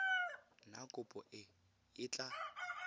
na kopo e e tla